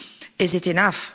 Is it enough?